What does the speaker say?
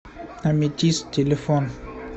аметист телефон